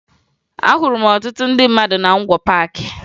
Ahụrụ m ọtụtụ ndị mmadụ na Ngwo Paakị